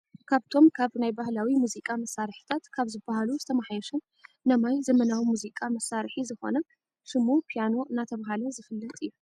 ካብቶም ካብ ናይ ባህላው ሙዚቃ መሳርሕታት ካብ ዝብሃሉ ዝተመሓየሸን ነማይ ዘመናው ሙዚቃ መሳርሒ ዝኮነ ሽሙ ፕያኖ እናተባህለ ዝፍለጥ እዩ ።